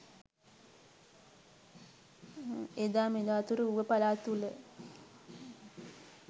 එදා මෙදා තුර ඌව පළාත තුළ